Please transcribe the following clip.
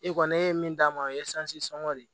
E kɔni ne ye min d'a ma o ye sɔngɔ de ye